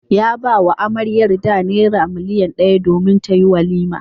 Ya ba wa amaryarda naira miliyan daya domin tayi walima.